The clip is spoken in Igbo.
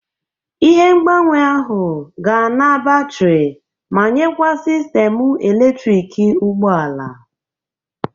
Ihe ngbanwe ahụ ga-ana batrị ma nyekwa sistemu eletriki ụgbọ ala.